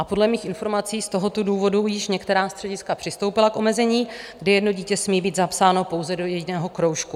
A podle mých informací z tohoto důvodu již některá střediska přistoupila k omezení, kdy jedno dítě smí být zapsáno pouze do jediného kroužku.